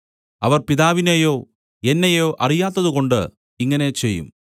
അവർ പിതാവിനെയോ എന്നെയോ അറിയാത്തതുകൊണ്ട് ഇങ്ങനെ ചെയ്യും